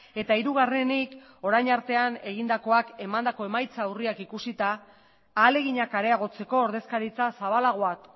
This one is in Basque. eta hirugarrenik orain artean egindakoak emandako emaitza urriak ikusita ahaleginak areagotzeko ordezkaritza zabalagoak